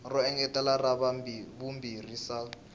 ro engetela ra vumbirhi sal